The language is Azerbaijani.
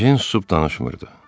Ejen susub danışmırdı.